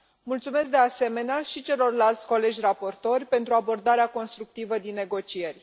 Mulțumesc, de asemenea, și celorlalți colegi raportori pentru abordarea constructivă din negocieri.